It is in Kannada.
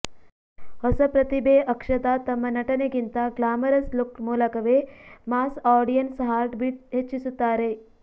ಹೊಸ ಪ್ರತಿಭೆ ಅಕ್ಷತಾ ತಮ್ಮ ನಟನೆಗಿಂತ ಗ್ಲಾಮರಸ್ ಲುಕ್ ಮೂಲಕವೇ ಮಾಸ್ ಆಡಿಯನ್ಸ್ ಹಾರ್ಟ್ಬಿಟ್ ಹೆಚ್ಚಿಸುತ್ತಾರೆ